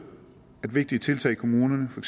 at vigtige tiltag i kommunerne for